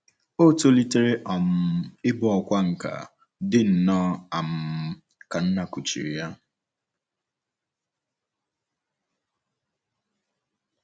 O tolitere um ịbụ ọkwá nkà, dị nnọọ um ka nna kuchiri ya.